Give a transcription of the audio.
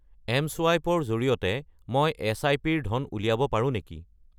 MSwipe ৰ জৰিয়তে মই এছআইপি-ৰ পৰা ধন উলিয়াব পাৰোঁ নেকি?